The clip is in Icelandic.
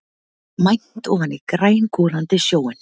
Mænt ofan í grængolandi sjóinn.